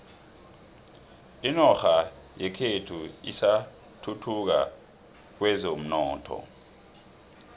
inorha yekhethu isathuthuka kwezomnotho